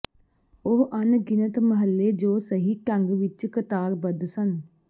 ਉਹ ਅਣਗਿਣਤ ਮਹੱਲੇ ਜੋ ਸਹੀ ਢੰਗ ਵਿੱਚ ਕਤਾਰਬੱਧ ਸਨ